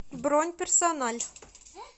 бронь персональ